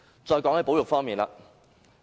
再談談保育方面。